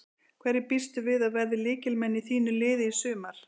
Hverjir býstu við að verði lykilmenn í þínu liði í sumar?